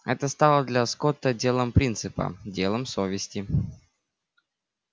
это стало для скотта делом принципа делом совести